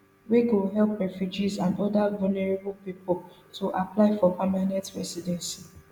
wey go help refugees and oda vulnerable pipo to apply for permanent residency